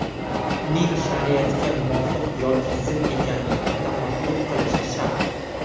Uning shariatga muvofiq yoki zid ekanligini tafakkur qilishi shart.